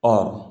Ɔ